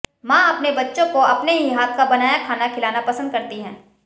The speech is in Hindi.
मां अपने बच्चे को अपने ही हाथ का बनाया खाना खिलाना पसंद करती हैं